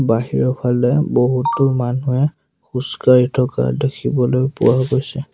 বাহিৰৰ ফালে বহুতো মানুহে খোজ কাঢ়ি থকা দেখিবলৈ পোৱা গৈছে।